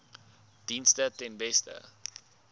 dienste ten beste